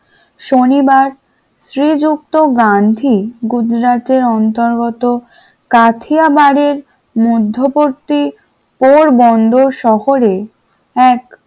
শনিবার শ্রীযুক্ত গান্ধী গুজরাটের অন্তর্গত কাথিয়াবার এর মধ্যবর্তী পোরবন্দর শহরে এক,